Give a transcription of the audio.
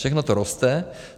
Všechno to roste.